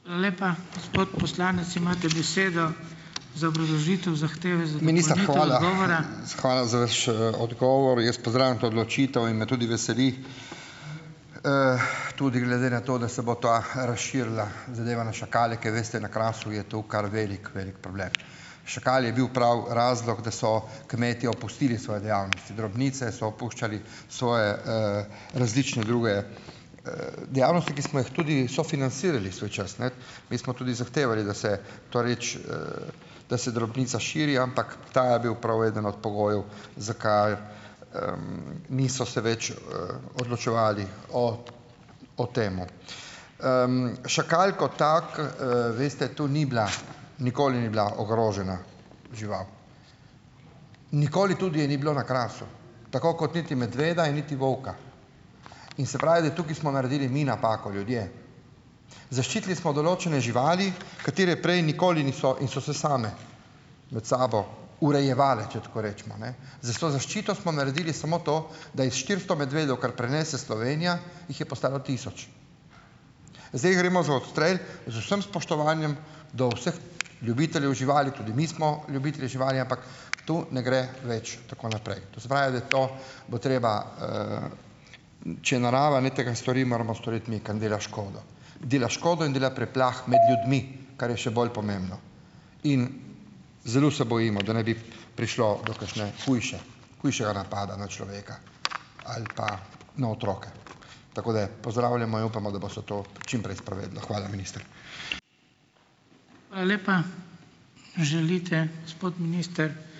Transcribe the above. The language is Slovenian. Minister, hvala, hvala za vaš, odgovor. Jaz pozdravljam to odločitev in me tudi veseli, tudi glede na to, da se bo ta razširila, zadeva, na šakale, ker veste, na Krasu je to kar velik, velik problem. Šakal je bil prav razlog, da so kmetje opustili svoje dejavnosti, drobnice so opuščali, svoje, različne druge, dejavnosti, ki smo jih tudi sofinancirali svoj čas, ne. Mi smo tudi zahtevali, da se to reči, da se drobnica širi, ampak ta je bil prav eden od pogojev, zakaj, niso se več, odločevali o o tem. Šakal kot tak, veste, to ni bila, nikoli ni bila ogrožena žival, nikoli tudi je ni bilo na Krasu. Tako kot niti medveda in niti volka in se pravi, da tukaj smo naredili mi napako, ljudje. Zaščitili smo določene živali, katere prej nikoli niso in so se same med sabo urejevale, če tako rečemo, ne? S to zaščito smo naredili samo to, da je iz štiristo medvedov, kar prenese Slovenija, jih je postalo tisoč. Zdaj, gremo za odstrel, z vsem spoštovanjem do vseh ljubiteljev živali, tudi mi smo ljubitelji živali, ampak to ne gre več tako naprej. To se pravi, da to bo treba, če narava ne tega stori, moramo storiti mi, ker nam dela škodo. Dela škodo in dela preplah med ljudmi, kar je še bolj pomembno, in zelo se bojimo, da ne bi prišlo do kakšne hujše, hujšega napada na človeka ali pa na otroke. Tako da pozdravljamo in upamo, da bo se to čim prej "sprovedlo". Hvala, minister.